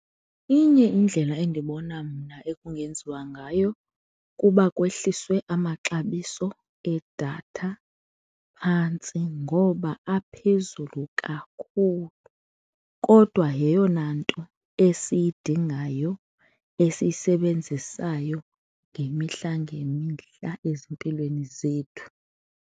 Inye indlela endibona mna ekungenziwa ngayo kuba kwehliswe amaxabiso edatha phantsi ngoba aphezulu kakhulu kodwa yeyona nto esiyidingayo esiyisebenzisayo ngemihla ngemihla ezimpilweni zethu.